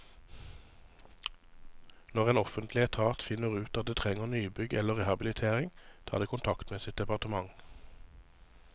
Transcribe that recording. Når en offentlig etat finner ut at det trenger nybygg eller rehabilitering, tar det kontakt med sitt departement.